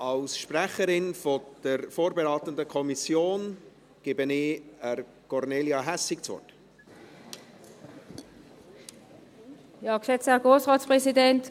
Ich gebe der Sprecherin der vorberatenden Kommission, Kornelia Hässig, das Wort.